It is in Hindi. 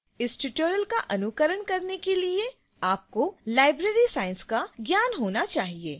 इस tutorial का अनुकरण करने के लिए आपको library science का ज्ञान होना चाहिए